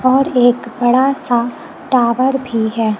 और एक बड़ा सा टावर भी है।